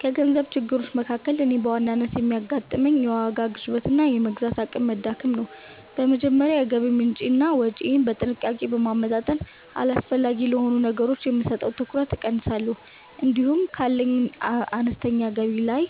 ከገንዘብ ችግሮች መካከል እኔን በዋናነት የሚያጋጥመኝ፣ የዋጋ ግሽበትና የመግዛት አቅም መዳከም ነው። በመጀመሪያ የገቢ ምንጬንና ወጪዬን በጥንቃቄ በማመጣጠን፣ አላስፈላጊ ለሆኑ ነገሮች የምሰጠውን ትኩረት እቀንሳለሁ። እንዲሁም ካለኝ አነስተኛ ገቢ ላይ